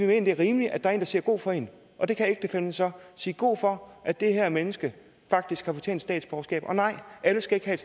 det er rimeligt at der en der siger god for en og det kan ægtefællen så sige god for at det her menneske faktisk har fortjent statsborgerskab og nej alle skal ikke have